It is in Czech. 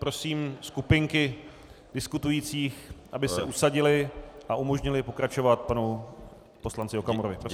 Prosím skupinky diskutujících, aby se usadily a umožnily pokračovat panu poslanci Okamurovi.